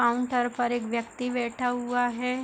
Counter पर एक व्यक्ति बैठा हुआ है।